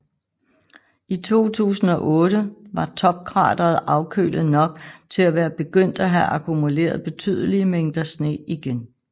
I 2008 var topkrateret afkølet nok til at være begyndt at have akkumuleret betydelige mængder sne igen